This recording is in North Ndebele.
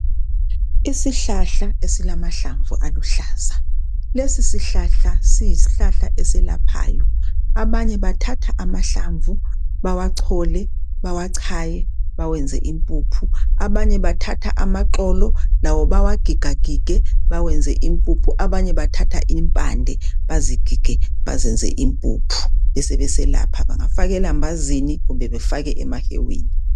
Isihlahla esilamahlamvu aluhlaza, lesi sihlahla siyisihlahla eselaphayo abanye bathatha amahlamvu bawachole, bawachaye bawenze impuphu. Abanye bathatha amaxolo lawo bawagigagige bawenze impuphu abanye bathatha impande bazigige bazenze impuphu besebeselapha bangafaka elambazini kumbe bafake emahewini.